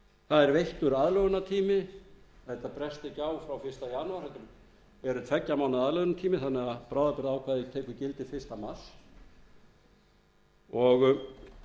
það er veittur aðlögunartími þetta bresti ekki frá fyrsta janúar heldur er tveggja mánaða aðlögunartími þannig að bráðabirgðaákvæðið tekur gildi fyrsta mars og